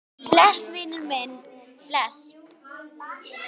Bless, vinur minn, bless.